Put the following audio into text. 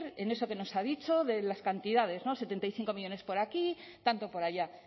en eso que nos ha dicho de las cantidades setenta y cinco millónes por aquí tanto por allá